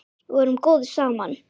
Við vorum góðir saman.